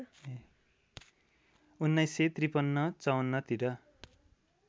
१९५३ ५४ तिर